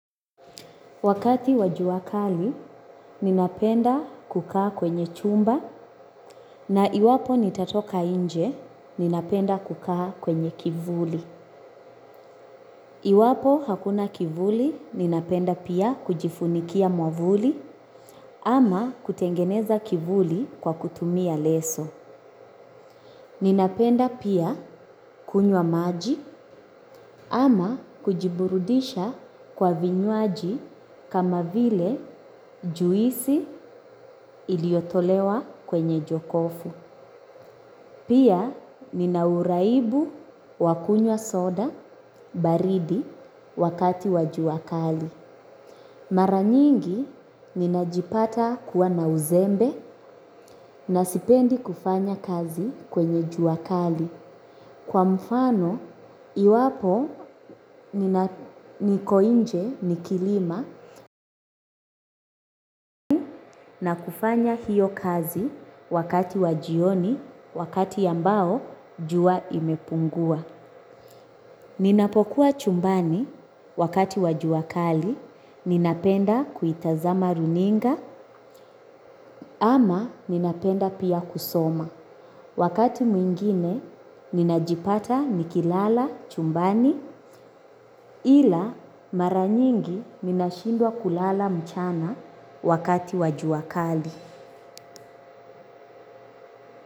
Wakati wajuwa kali, ninapenda kukaa kwenye chumba na iwapo nitatoka inje, ninapenda kukaa kwenye kivuli. Iwapo hakuna kivuli, ninapenda pia kujifunikia mwavuli ama kutengeneza kivuli kwa kutumia leso. Ninapenda pia kunywa maji ama kujiburudisha kwa vinyuaji kama vile juisi iliotolewa kwenye jokofu. Pia ninauraibu wakunywa soda baridi wakati wajuakali. Maranyingi ninajipata kuwa na uzembe na sipendi kufanya kazi kwenye juakali. Kwa mfano, iwapo nikoinje nikilima na kufanya hiyo kazi wakati wajioni wakati yambao jua imepungua. Ninapokuwa chumbani wakati wajua kali, ninapenda kuitazama runinga ama ninapenda pia kusoma. Wakati mwingine, ninajipata nikilala chumbani ila maranyingi nina shindwa kulala mchana wakati wajuakali.